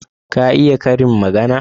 Ka iya karin magana?